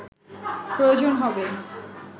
প্রয়োজন হবে